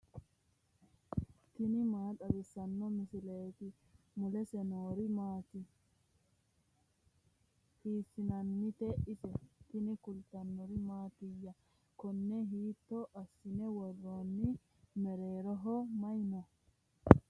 tini maa xawissanno misileeti ? mulese noori maati ? hiissinannite ise ? tini kultannori mattiya? koonne hiitto assine woroonni? mereerroho may noo?